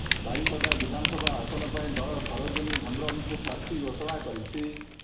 ବାରିପଦା ବିଧାନସଭା ଆସନ ପାଇଁ ଦଳ ସରୋଜିନୀ ହେମ୍ବ୍ରମଙ୍କୁ ପ୍ରାର୍ଥୀ ଘୋଷଣା କରିଛି